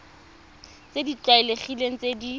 tse di tlwaelegileng tse di